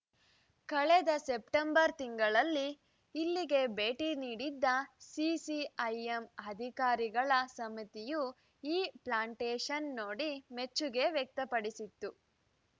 ಕಳೆದ ಸೆಪ್ಟೆಂಬರ್‌ ತಿಂಗಳಲ್ಲಿ ಇಲ್ಲಿಗೆ ಭೇಟಿ ನೀಡಿದ್ದ ಸಿಸಿಐಎಂ ಅಧಿಕಾರಿಗಳ ಸಮಿತಿಯು ಈ ಪ್ಲಾಂಟೇಶನ್‌ ನೋಡಿ ಮೆಚ್ಚುಗೆ ವ್ಯಕ್ತಪಡಿಸಿತ್ತು